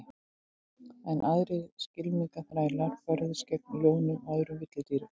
Enn aðrir skylmingaþrælar börðust gegn ljónum og öðrum villidýrum.